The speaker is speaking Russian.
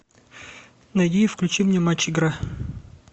найди и включи мне матч игра